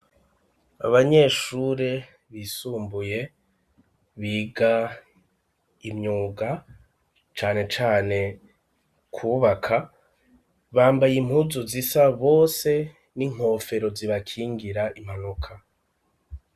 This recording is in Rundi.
Abanyeshure bisumbuye biga imyuga cane cane kwubaka bambaye impuzu zisa bose n'inkofero zibakingira impanuka.